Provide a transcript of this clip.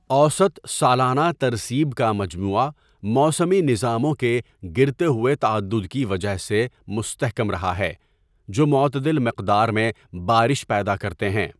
اوسط سالانہ ترسیب کا مجموعہ موسمی نظاموں کے گرتے ہوئے تعدد کی وجہ سے مستحکم رہا ہے جو معتدل مقدار میں بارش پیدا کرتے ہیں۔